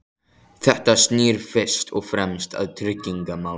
Þetta snýr fyrst og fremst að tryggingamálum.